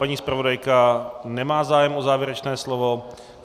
Paní zpravodajka nemá zájem o závěrečné slovo.